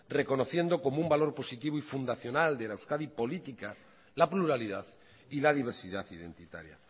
reconociendo como un valor positivo y fundacional de la euskadi política la pluralidad y la diversidad identitaria